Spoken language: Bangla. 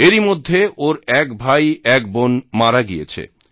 এরইমধ্যে ওর এক ভাই এক বোন মারা গিয়েছে